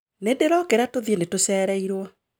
Nĩndĩrokĩra tuthiĩ nĩtũcereirwo